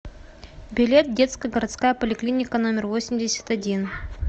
билет детская городская поликлиника номер восемьдесят один